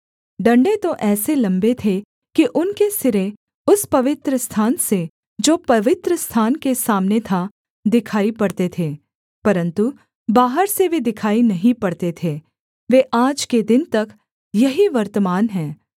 डण्डे तो ऐसे लम्बे थे कि उनके सिरे उस पवित्रस्थान से जो पवित्रस्थान के सामने था दिखाई पड़ते थे परन्तु बाहर से वे दिखाई नहीं पड़ते थे वे आज के दिन तक यहीं वर्तमान हैं